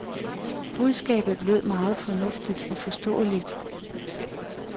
Budskabet lød meget fornuftigt og forståeligt.